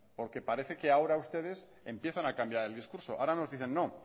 porque parece que ahora ustedes empiezan a cambiar el discurso ahora nos dicen no